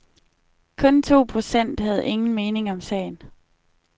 Kun to procent havde ingen mening om sagen.